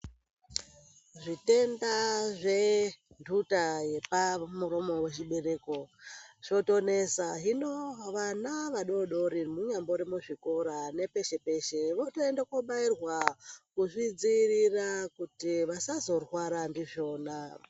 Zvitenda zvenduta yepamuromo wechibereko zvotonesa hino vana vadoodori kunyambori kuzvikora votoenda kobaarirwa kuti vasazorwara ndizvona.